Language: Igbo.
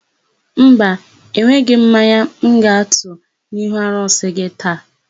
Mba, enweghị m mmanya m ga-atụ n'ihu arụsị gị taa.